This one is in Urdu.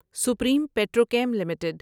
supreme Petrochem limited